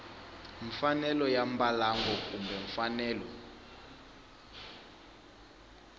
mfanelo ya mbalango kumbe mfanelo